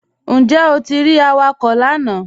Njẹ́ o ti rí àwàkọ̀ lànà?